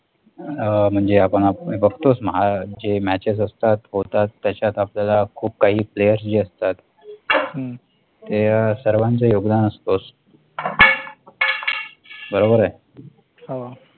म्हणजे आपण बघतोच, जे Matches असतात होतात, त्याच्यात आपल्याला खूप काही player जे असतात, ते सर्वांचे योगदान असतेच, बरोबर आहे? हा